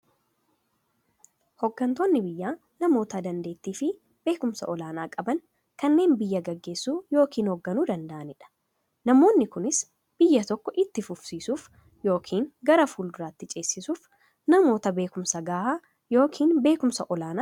Hooggantoonni biyyaa namoota daanteettiifi beekumsa olaanaa qaban, kanneen biyya gaggeessuu yookiin hoogganuu danda'aniidha. Namoonni kunis, biyya tokko itti fufsiisuuf yookiin gara fuulduraatti ceesisuuf, namoota beekumsa gahaa yookiin beekumsa olaanaa qabaniidha.